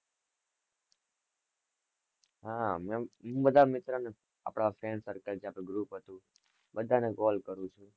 હ મેં બધા મિત્રો ને આપડા friend circle જે આપડુ group હતું બધા ને call કરું છુ